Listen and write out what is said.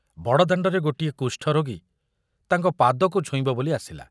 ବଡ଼ଦାଣ୍ଡରେ ଗୋଟିଏ କୁଷ୍ଠରୋଗୀ ତାଙ୍କ ପାଦକୁ ଛୁଇଁବ ବୋଲି ଆସିଲା।